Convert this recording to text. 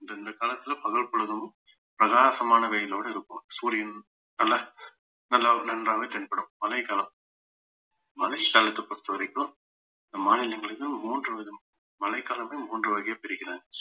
இந்த இந்த காலத்துல பகல்பொழுதும் பிரகாசமான வெயிலோட இருக்கும் சூரியன் நல்லா நல்லா ஒரு நன்றாகவே தென்படும் மழைக்காலம் மழைக்காலத்தை பொறுத்தவரைக்கும் நம் மாநிலங்களிலும் மூன்று விதம் மழைக்காலங்கள் மூன்று வகையா பிரிக்கிறாங்க